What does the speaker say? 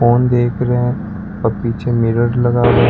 Phone देख रहे हैं और पीछे मिरर लगा हुआ है।